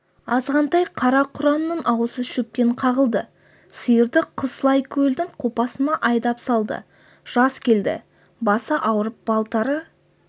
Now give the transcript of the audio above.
азғантай қара-құраның аузы шөптен қағылды сиырды қыс лайкөлдің қопасына айдап салды жас келді басы ауырып балтыры